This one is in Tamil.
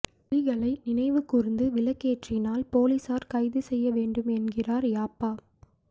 புலிகளை நினைவுகூர்ந்து விளக்கேற்றினால் பொலிஸார் கைது செய்ய வேண்டும் என்கிறார் யாப்பா